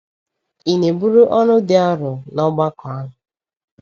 Ị na-eburu ọrụ dị arọ n’ọgbakọ ahụ?